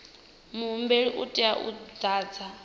muhumbeli u tea u ḓadza